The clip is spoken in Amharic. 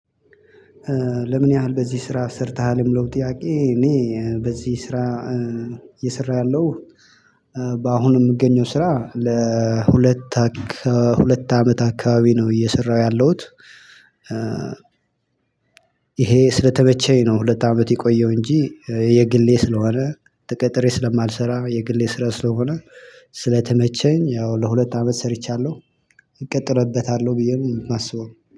ለምን ያህል በዚህ ስራ ሰርተሃልም? ለሚለው ጥያቄ እኔ በዚህ ስራ እየሰራሁ ያለሁት በአሁኑ የምገኘው ስራ ለሁለት አካባቢ ሁለት አመት አካባቢ ነው እየሰራሁ ያለሁት። ይሄ ስለተመቸኝ ነው ሁለት አመት የቆየው እንጂ የግሌ ስለሆነ ተቀጥሬ ስለማልሰራ የግሌ ስራ ስለሆነ ስለተመቸኝ ያው ለሁለት አመት ሰርቻለሁ። እቀጥልበታለሁ ብዬ ነው የማስበው።